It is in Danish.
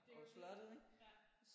Det er jo det ja